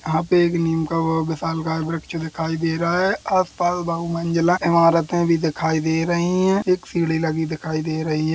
यहाँ पर एक नीम का विशाल वट बृक्ष दिखाई दे रहा हैं आस पास बहु मंजिला इमारते भी दिखाई दे रही है एक सीढ़ी लगी दिखाई दे रही हैं।